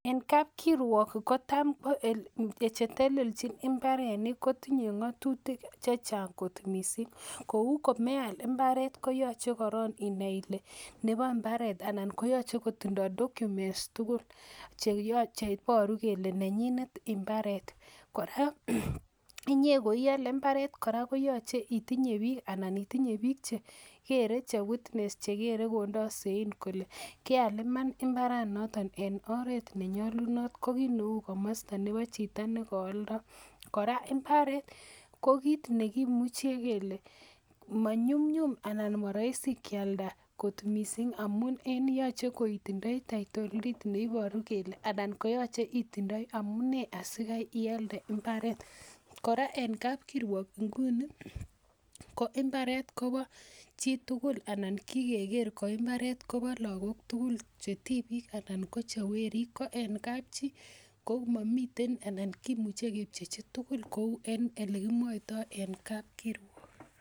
Eng kapkirwok ko tam ko chetelelnjin mbarenik kotinye ng'otutik chechang kot missing kou komeal mbaret kooche inai ile nebo mbaret ana koyoche kotindoo documents tugul cheiboru kole nenyinet mbaret kora inyee koiole mbaret koyoche itinye biik ana itinye biik chekere che witness chekere kondoo sein kole keal iman mbaranoton en oret nenyolunot ko kit neuu komosta nebo chito nekooldoo kora mbaret ko kit nekimuche kele manyumnyum ana moroisi kialda kot missing amun yoche itindoi title deed neiboru kele anan koyoche itindoi amunee asikai ialde mbaret kora en kapkirwok nguni ko mbaret koba chitugul anan kikeker koimbaret kobo lakok tugul che tibiik anan ko che weriik ko en kapchi ko momiten anan kimuche kepchechi tugul kou en elekimwoitoo en kapkirwok